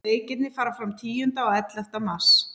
Leikirnir fara fram tíunda og ellefta mars.